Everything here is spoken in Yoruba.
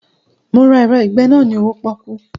Mo ra ẹ̀rọ ìgbe irun náà ni owó pọ́kú